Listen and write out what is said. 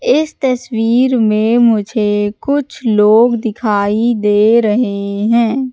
इस तस्वीर में मुझे कुछ लोग दिखाई दे रहे हैं।